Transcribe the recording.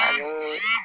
Ani